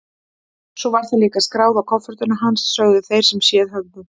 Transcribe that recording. Svo var það líka skráð á kofortin hans, sögðu þeir sem séð höfðu.